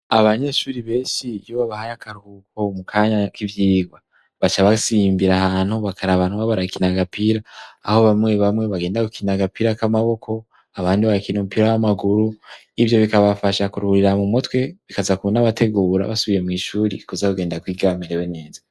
Abanyeshuri benshi yobabahaye akaruko mu kanya k'ivyirwa, baca basimbira ahantu bakaraba abantu baba barakina agapira, aho bamwe bamwe bagenda gukina agapira k'amaboko, abandi bagakina umupira w'amaguru. Ivyo bikabafasha kuruhurira mu mutwe, bikaza kunabategura basubiye mw'shuri kuza kugenda kwiga bamerewe neza.